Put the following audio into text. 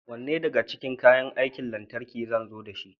Wanne daga cikin kayan aikin lantarki zan zo dashi?